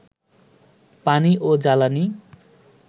পানি ও জ্বালানি